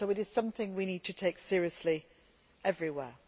This is something we need to take seriously everywhere.